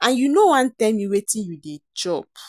and you no wan tell me wetin you dey chop